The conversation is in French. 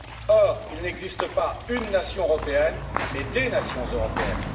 Or, il n'existe pas une nation européenne, mais des nations européennes.